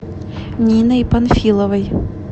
ниной панфиловой